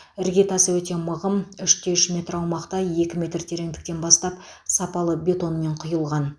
іргетасы өте мығым үште үш метр аумақта екі метр тереңдіктен бастап сапалы бетонмен құйылған